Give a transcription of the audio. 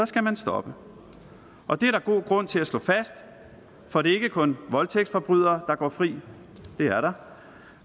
skal man stoppe og det er der god grund til at slå fast for det er ikke kun voldtægtsforbrydere der går fri det er der